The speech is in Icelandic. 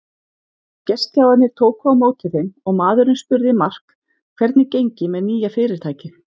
Gestgjafarnir tóku á móti þeim og maðurinn spurði Mark hvernig gengi með nýja fyrirtækið.